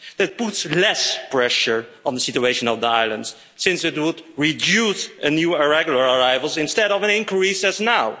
That puts less pressure on the situation of the islands, since it would reduce new and irregular arrivals instead of an increase as now.